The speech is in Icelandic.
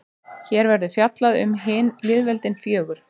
hér verður fjallað um hin lýðveldin fjögur